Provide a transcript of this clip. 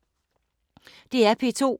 DR P2